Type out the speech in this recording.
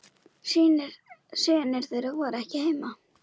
Synir þeirra voru ekki heima.